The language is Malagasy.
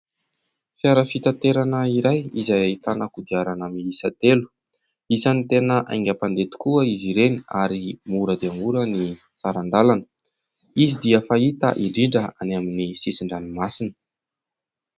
Fiara fitaterana iray izay ahitana kodiarana miisa telo, isany tena haingam-pandeha tokoa izy ireny ary mora dia mora ny saran-dalana, izy dia fahita indrindra any amin'ny sisin-dranomasina.